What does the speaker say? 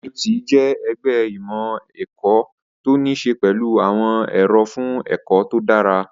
NUT jẹ́ ẹgbẹ́ ìmọ̀ ẹ̀kọ́ tó ní ṣe pẹ̀lú àwọn èrò fún ẹ̀kọ́ tó dára